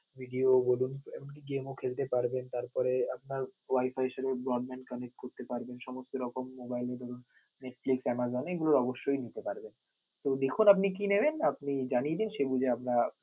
video এমনকি game ও খেলতে পারবেন, তারপরে আপনার Wifi এর সাথে broadband connect করতে পারবেন সমস্ত রকম mobile যেমন Netflix, Amazon এগুলো অবশ্যই নিতে পারবেন. তো দেখুন আপনি কি নিবেন, আপনি জানিয়ে দিন সেদিকে আমরা